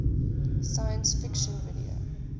science fiction video